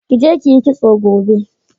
Ki je ki yi kitso gobe.